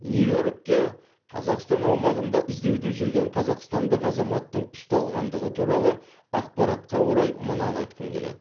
нью йоркте қазақстан аумағында іздеуде жүрген қазақстандық азаматтың ұсталғандығы туралы ақпаратқа орай мынаны айтқым келеді